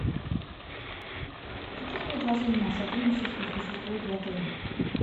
какие предложения о сотрудничестве существуют в отеле